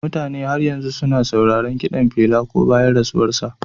Mutane har yanzu suna sauraron kiɗan Pela ko da bayan rasuwarsa.